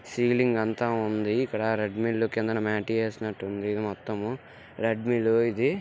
Ceiling అంతా ఉంది. ఇక్కడ రెడ్ మిల్లు కిందన మేటి ఏసినట్టుంది మొత్తము. రెడ్ మిల్లు ఇది.